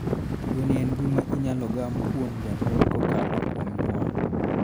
Tuoni en gima inyalo gam kuom janyuol kakalo kuom nyuol.